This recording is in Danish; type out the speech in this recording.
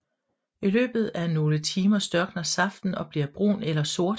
I løbet af nogle timer størkner saften og bliver brun eller sort